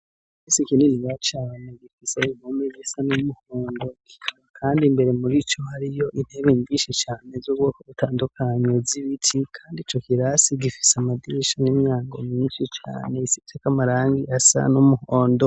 Risi ikinini ya cane gifisa imumi resa n'umuhondo, kandi mbere muri co hariyo intebe mvishi cane z'ubwoko butandukanyo z'iwiti, kandi co kirasi gifise amadirisha n'inyango miniti cane isiteka amarangi asa n'umuhondo.